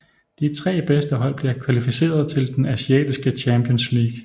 De 3 bedste hold bliver kvalificeret til den Asiatiske Champions League